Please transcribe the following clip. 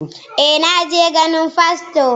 eh, na je ganin fasto